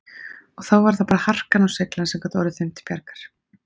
Og þá var það bara harkan og seiglan sem gat orðið þeim til bjargar.